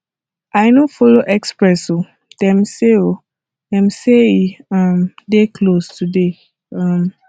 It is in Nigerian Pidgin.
i no folo express o dem say o dem say e um dey close today um